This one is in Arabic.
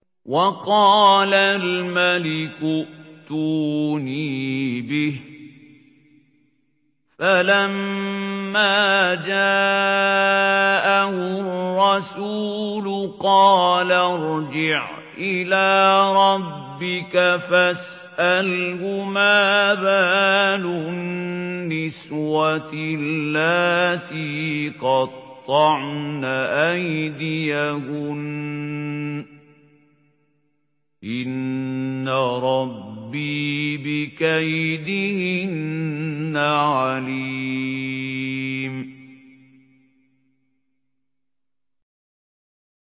وَقَالَ الْمَلِكُ ائْتُونِي بِهِ ۖ فَلَمَّا جَاءَهُ الرَّسُولُ قَالَ ارْجِعْ إِلَىٰ رَبِّكَ فَاسْأَلْهُ مَا بَالُ النِّسْوَةِ اللَّاتِي قَطَّعْنَ أَيْدِيَهُنَّ ۚ إِنَّ رَبِّي بِكَيْدِهِنَّ عَلِيمٌ